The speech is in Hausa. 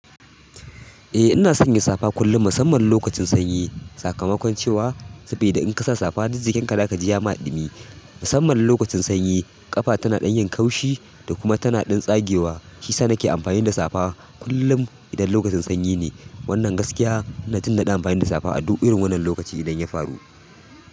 Eh ina sanya safa kullun musamman lokacin sanyi. Sakamakon cewa saboda in kasa safa duk jikin ka za ka ji ya ma ɗimi. Musamman lokacin sanyi ƙafa tana ɗan yin kaushi da kuma tana tsagewa. Shisa nake amfani da safa kullum idan lokacin sanyi ne. Wannan gaskiya nuna jin naɗi amfani da safa a duk irin wannan lokaci idan ya faru.